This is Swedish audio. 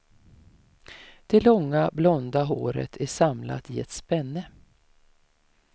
Det långa, blonda håret är samlat i ett spänne.